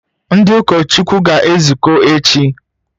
Ndị ụkọchukwu ga-ezukọ echi?